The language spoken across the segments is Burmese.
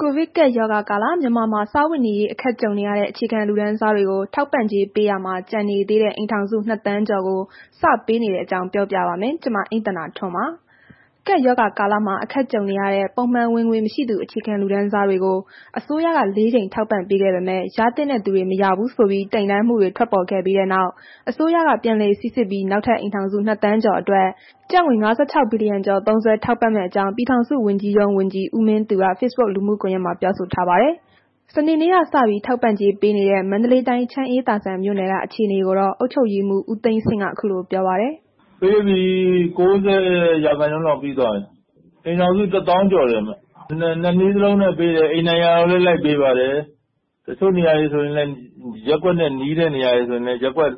ကိုဗစ်ကပ်ရောဂါကာလ မြန်မာနိုင်ငံမှာ စားဝတ်နေရေး အခက်ကြုံနေရတဲ့ အခြေခံလူတန်းစားတွေကို ထောက်ပံ့ကြေးပေးရာမှာ ကျန်နေသေးတဲ့ အိမ်ထောင်စု ၂ သန်းကျော်ကို စပေးနေတဲ့အကြောင်း ပြောပြပါ မယ်။ VOA မြန်မာပိုင်း သတင်းထောက် မအိမ့်သန္တာထွန်းတင်ဆက်ထားပါတယ်။ ကပ်ရောဂါကာလမှာ အခက်အခဲကြုံနေရတဲ့ ပုံမှန်ဝင်ငွေမရှိသူ အခြေခံလူတန်းစားတွေကို အစိုးရက ၄ ကြိမ် ထောက်ပံ့ခဲ့ပေမဲ့ ရသင့်တဲ့သူတွေ မရဘူးဆိုပြီး တိုင်တန်းမှုတွေ ထွက်ပေါ်ခဲ့ပြီးနောက် အစိုးရက ပြန်လည်စိစစ်ပြီး နောက်ထပ် အိမ်ထောင်စု ၂ သန်းကျော်အတွက် ကျပ်ငွေ ၅၆ ဘီလီယံကျော် သုံးစွဲထောက်ပံ့မယ့်အကြောင်း ပြည်ထောင်စုဝန်ကြီးရုံးဝန်ကြီး ဦးမင်းသူက Facebook လူမှုကွန်ရက်မှာ ပြောဆိုထားပါတယ်။ စနေနေ့ကစ ထောက်ပံ့ကြေးပေးနေတဲ့ မန္တလေးတိုင်း ချမ်းအေးသာဇံမြို့နယ်က အခြေအနေကိုတော့ အုပ်ချုပ်ရေးမှူး ဦးသိန်းဆင့်ကတော့ အခုလိုပြောပါတယ်။ “ပေးပြီ၊ ၉၀ ရာခိုင်နှုန်းလောက်ပြီးသွားပြီ။ အိမ်ထောင်စု ၁ သောင်းကျော်တယ်။ ၂ နည်းစလုံးနဲ့ပေး တယ်။ အိမ်တိုင်ရာရောက်လည်း လိုက်ပေးတယ်။ တစ်ချို့နေရာတွေဆိုရင်လည်း ရပ်ကွက်နဲ့ နီးတဲ့ နေရာတွေဆိုရင်လည်း ရပ်ကွက်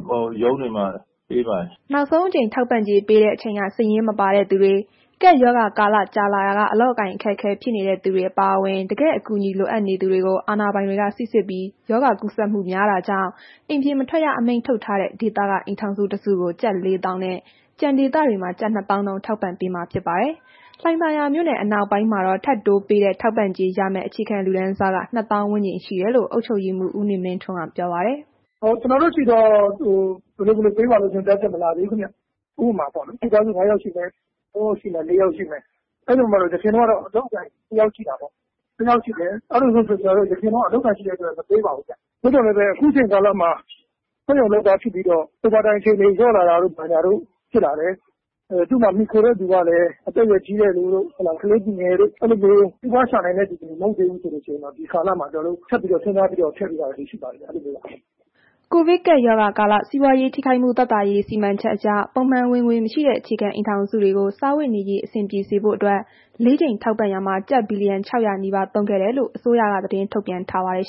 ရုံးတွေမှာ ပေးပါတယ်။” နောက်ဆုံးအကြိမ် ထောက်ပံ့ကြေးပေးတဲ့အချိန်က စာရင်းမှာမပါတဲ့သူတွေ၊ ကပ်ရောဂါကာလ ကြာလာရာက အလုပ်အကိုင် အခက်အခဲ ဖြစ်နေသူတွေ အပါအဝင် တကယ်အကူအညီလိုသူတွေကို အာဏာပိုင်တွေ စိစစ်ပြီး၊ ရောဂါကူးစက်မှုများတာကြောင့် အိမ်ပြင်မထွက်ရ အမိန့်ထုတ်ထားတဲ့ ဒေသက အိမ်ထောင်စုတစုကို ကျပ် ၄၀၀၀၀ နဲ့ ကျန်ဒေသမှာ ကျပ် ၂၀၀၀၀ နှုန်း ထောက်ပံ့ပေးမှာ ဖြစ်ပါတယ်။ လှိုင်သာယာမြို့နယ် အနောက်ပိုင်းမှာတော့ ထပ်တိုးပေးတဲ့ ထောက်ပံ့ကြေးရမယ့် အခြေခံလူတန်းစား က ၂ သောင်းဝန်းကျင်ရှိတယ်လို့ အုပ်ချုပ်ရေးမှုး ဦးနေမင်းထွန်းက ပြောပါတယ်။ “ကျွန်တော်တို့ဆီတော့ ဘယ်လိုဘယ်လိုပေးပါဆိုတာမျိုး ညွှန်ကြားချက်မလာသေးဘူးခင်ဗျ။ ဥပမာပေါ့လေ၊ မိသားစု ၄ ယောက်ရှိမယ် ၅ယောက်ရှိမယ်၊ အဲ့ဒီမှာ အရင်ကတော့ အလုပ်အကိုင် ၂ ယောက်ရှိတာပေါ့။ အဲ့လိုဆိုတော့ အရင်တုန်းက အလုပ်အကိုင်ရှိတဲ့အတွက် မပေးပါဘူးဗျ။ သို့သော်လည်းပဲ ခုချိန်ကာလမှာ စက်ရုံလုပ်သားဖြစ်ပြီးတော့ Over Time အချိန်တွေ လျော့လာတာတို့ ဘာတို့ ဖြစ်လာတယ်။ သူ့မှာမှီခိုတဲ့သူကလည်း အသက်အရွယ်ကြီးတဲ့သူတို့ ကလေးသူငယ်တို့ အဲ့လို စီးပွားရှာနိုင်တဲ့သူတွေ မဟုတ်ဘူးဆိုရင်တော့ ဒီကာလမှာ ကျွန်တော်တို့ ထပ်ပြီး စဉ်းစားပြီးတော့ ထည့်ပေးတာမျိုးတွေတော့ ရှိပါတယ်ခင်ဗျ။” ကိုဗစ်ကပ်ရောဂါကာလ စီးပွားရေးထိခိုက်မှုသက်သာရေးစီမံချက်အရ ပုံမှန်ဝင်ငွေမရှိတဲ့ အခြေခံ အိမ်ထောင်စုတွေကို စားဝတ်နေရေး အဆင်ပြေစေဖို့အတွက် ၄ ကြိမ်ထောက်ပံ့ရာမှာ ကျပ် ဘီလီယံ ၆၀၀ နီးပါးသုံးခဲ့ကြောင်းလည်း အစိုးရက သတင်းထုတ်ပြန်ထားပါတယ်